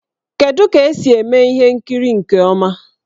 Kedu ka esi eme ihe nkiri nke ọma?